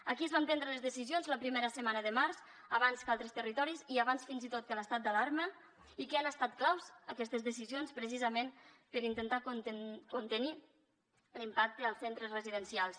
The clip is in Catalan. aquí es van prendre les decisions la primera setmana de març abans que a altres territoris i abans fins i tot que l’estat d’alarma i que han estat clau aquestes decisions precisament per intentar contenir l’impacte als centres residencials